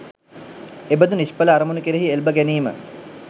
එබඳු නිෂ්ඵල අරමුණු කෙරෙහි එල්බ ගැනීම